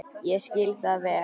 Ég skil það vel.